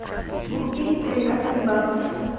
купить тринадцать батов